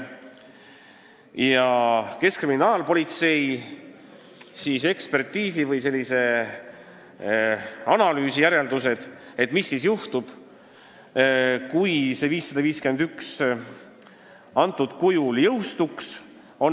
Millised on keskkriminaalpolitsei ekspertiisi või analüüsi järeldused, mis juhtuks siis, kui eelnõu 551 jõustuks praegusel kujul?